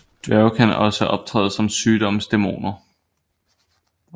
Dværge kan også optræde som sygdomsdæmoner